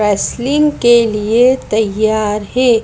Wrestling के लिए तैयार हैं।